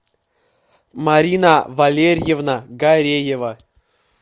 марина валерьевна гареева